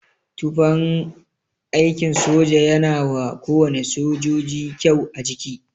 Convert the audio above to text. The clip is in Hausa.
Tufan aikin soja yana wa kowane sojoji kyau a jiki.